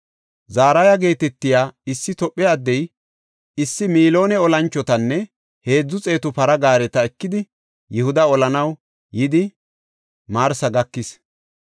Zaraha geetetiya issi Tophe addey issi miloone olanchotanne heedzu xeetu para gaareta ekidi Yihuda olanaw yidi Marisa gakis.